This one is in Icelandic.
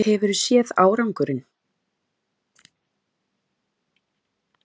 Hefurðu séð árangurinn?